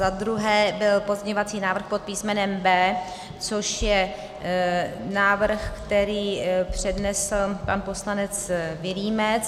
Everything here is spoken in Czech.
Za druhé byl pozměňovací návrh pod písmenem B, což je návrh, který přednesl pan poslanec Vilímec.